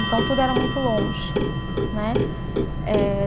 Então, tudo era muito longe, né, eh.